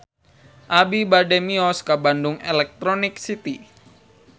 Abi bade mios ka Bandung Electronic City